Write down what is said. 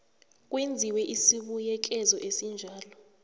kwenziwe isibuyekezo esinjalo